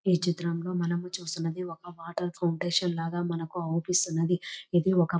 ఈ చిత్రంలో మనం చూస్తూ ఉన్నది ఒక వాటర్ ఫౌండేషన్ లాగా మనకు అవుపిస్తున్నది ఇది ఒక--